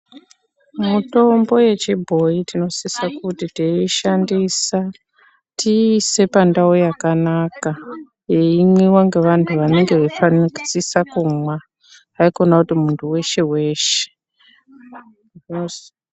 Mitombo yechibhoyi tinosisa kuti teiyishandisa tiise pakanaka yeimwiwa nevantu vanenge vachifana kusisa kumwa haikona kuti muntu weshe weshe .